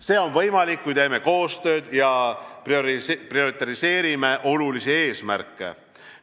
See on võimalik, kui teeme koostööd ja prioriseerime olulisi eesmärke.